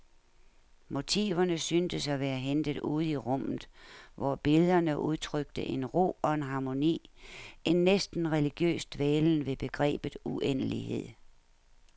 Motiverne syntes at være hentet ude i rummet, hvor billederne udtrykte en ro og en harmoni, en næsten religiøs dvælen ved begrebet uendelighed.